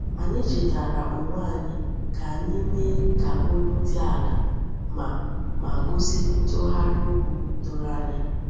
Anyị chetara onwe anyị ka anyị mee ka olu dị ala ma ma gosi ntụgharị okwu doro anya.